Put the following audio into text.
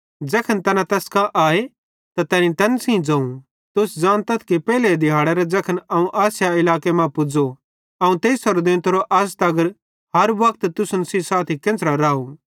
ज़ैखन तैना तैस कां आए त तैनी तैन सेइं ज़ोवं तुस ज़ानतथ कि पेइले दिहाड़ेरां ज़ैखन अवं आसिया इलाके मां पुज़ो अवं तेइसेरो देंतो अज़ तगर हर वक्त तुसन सेइं साथी केन्च़रां राव